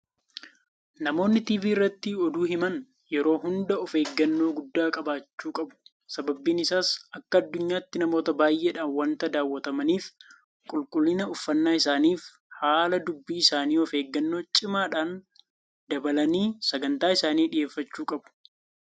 Namoonni TV irratti oduu himan yeroo hunda ofeeggannoo guddaa qabaachuu qabu. Sababni isaas akka addunyaatti namoota baay'eedhaan waanta daawwatamaniif qulqullina uffannaa isaaniifi haala dubbii isaanii ofeeggannoo cimaadhaan dabaalanii Sagantaa isaanii dhiyeeffachuu qabu.